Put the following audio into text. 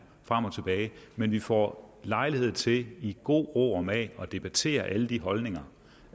frem og tilbage men vi får lejlighed til i god ro og mag at debattere alle de holdninger